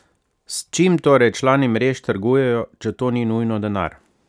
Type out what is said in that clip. S čim torej člani mrež trgujejo, če to ni nujno denar?